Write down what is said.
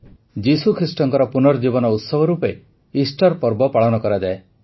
ଯୀଶୁଖ୍ରୀଷ୍ଟଙ୍କ ପୁନର୍ଜୀବନ ଉତ୍ସବ ରୂପେ ଇଷ୍ଟର ପର୍ବ ପାଳନ କରାଯାଏ